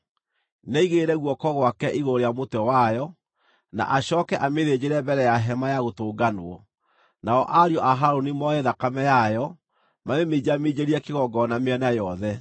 Nĩaigĩrĩre guoko gwake igũrũ rĩa mũtwe wayo, na acooke amĩthĩnjĩre mbere ya Hema-ya-Gũtũnganwo. Nao ariũ a Harũni moe thakame yayo, mamĩminjaminjĩrie kĩgongona mĩena yothe.